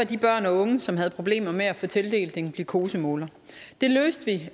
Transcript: børn og unge som havde problemer med at få tildelt en glukosemåler det løste vi